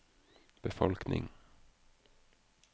befolkning